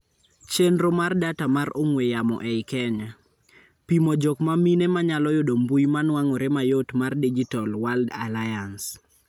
Chendro mar data mar on'wee yamo ei Kenya. Pimo jok mamine manyalo yudo mbui manuang'ore mayot mar Digital World Alliance.